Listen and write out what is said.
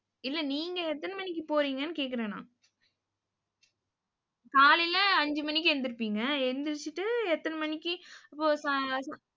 இல்லை நீங்க எத்தனை மணிக்கு போறீங்கன்னு கேட்கிறேன் நான். காலையிலே, அஞ்சு மணிக்கு எந்திரிப்பீங்க. எந்திரிச்சுட்டு எத்தனை மணிக்கு இப்ப